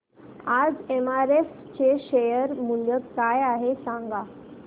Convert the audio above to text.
आज एमआरएफ चे शेअर मूल्य काय आहे सांगा